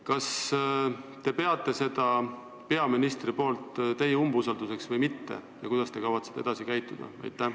Kas te peate seda peaministri poolt teie umbusaldamiseks või mitte ja kuidas te kavatsete edasi käituda?